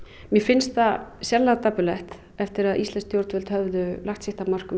mér finnst það sérlega dapurlegt eftir að íslensk stjórnvöld höfðu lagt sitt af mörkum í